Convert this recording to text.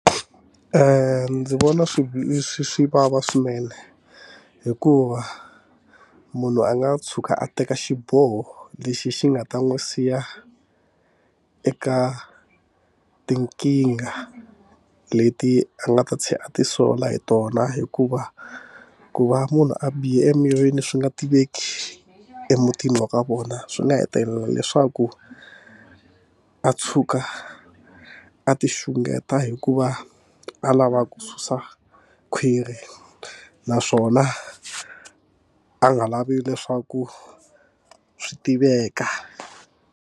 Ndzi vona swi swi swi vava swinene hikuva munhu a nga tshuka a teka xiboho lexi xi nga ta n'wi siya eka tinkingha leti a nga ta a ti sola hi tona hikuva ku va munhu a bihe emirini swi nga tiveki emutini wa ka vona swi nga hetelela leswaku a a tshuka a ti xungeta hikuva a lava ku susa khwiri naswona a nga lavi leswaku swi tiveka.